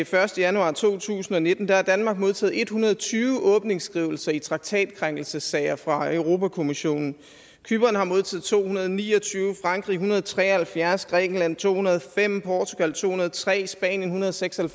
første januar to tusind og nitten har danmark modtaget en hundrede og tyve åbningsskrivelser i traktatkrænkelsessager fra europa kommissionen cypern har modtaget to hundrede og ni og tyve frankrig en hundrede og tre og halvfjerds grækenland to hundrede og fem portugal to hundrede og tre spanien en hundrede og seks og